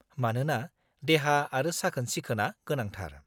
-मानोना देहा आरो साखोन-सिखोनआ गोनांथार।